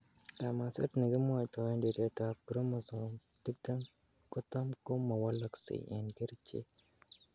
Kamaset nekimwoitoen tiretab chromosome tiptem kotam ko mowolokse en kerichek.